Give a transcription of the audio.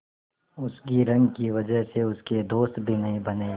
उसकी रंग की वजह से उसके दोस्त भी नहीं बने